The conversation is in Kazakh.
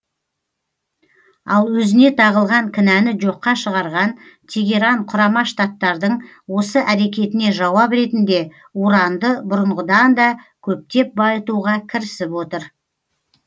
ал өзіне тағылған кінәні жоққа шығарған тегеран құрама штаттардың осы әрекетіне жауап ретінде уранды бұрынғыдан да көптеп байытуға кірісіп отыр